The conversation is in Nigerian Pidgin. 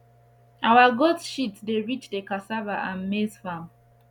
our goat shit dey reach the cassava and maize farm